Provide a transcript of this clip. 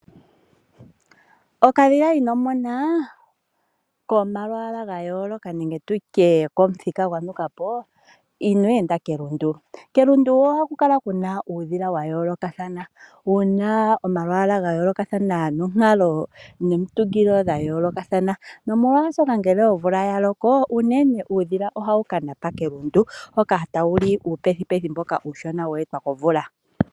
Okadhila ino mona komalwaala ga yooloka nenge tutye komuthika gwa nuka po ,inweenda kelundu. Kelundu oha ku kala kuna uudhila wa yoolokathana, wuna omalwaala ga yoolokathana nonkalo nomitungilo dha yoolokathana. Nomolwaashoka ngele omvula ya loko, unene uudhila ohawu ka napa kelundu, hoka tawu li uupethupethu mboka uushona wee twa komvula.